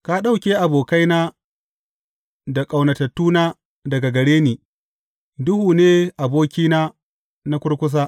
Ka ɗauke abokaina da ƙaunatattuna daga gare ni; duhu ne abokina na kurkusa.